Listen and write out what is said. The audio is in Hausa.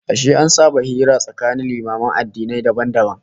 Ashe an saba hira tsakanin limaman addinai dabam dabam?